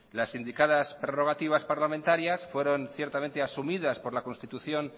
las indicadas prorrogativas parlamentarias fueron ciertamente asumidas por la constitución